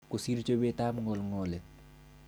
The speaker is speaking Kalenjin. Kosir chobetab ngolngolet.